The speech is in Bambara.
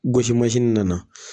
Gosi nana